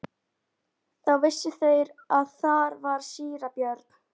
Þá vissu þeir að þar var síra Björn.